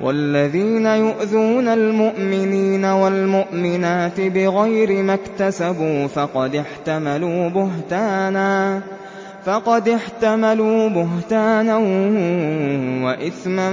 وَالَّذِينَ يُؤْذُونَ الْمُؤْمِنِينَ وَالْمُؤْمِنَاتِ بِغَيْرِ مَا اكْتَسَبُوا فَقَدِ احْتَمَلُوا بُهْتَانًا وَإِثْمًا